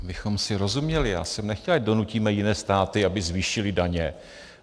Abychom si rozuměli, já jsem nechtěl, ať donutíme jiné státy, aby zvýšily daně.